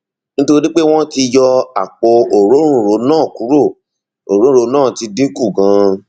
nítorí pé wọn ti yọ àpò òróǹro náà kúrò òróǹro náà ti dín kù ganan